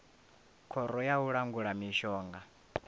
khoro ya u langula mishonga